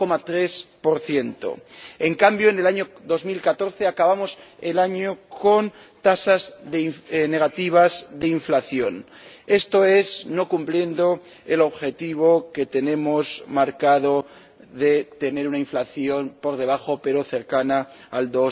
1,3 En cambio, en 2014 acabamos el año con tasas negativas de inflación, esto es, no cumpliendo el objetivo que tenemos marcado de tener una inflación por debajo pero cercana al